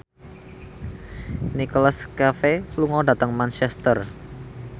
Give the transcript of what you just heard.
Nicholas Cafe lunga dhateng Manchester